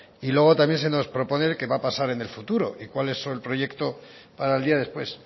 y luego también se nos propone qué va a pasar en el futuro y cuál es el proyecto para el día después